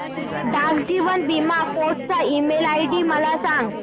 डाक जीवन बीमा फोर्ट चा ईमेल आयडी मला सांग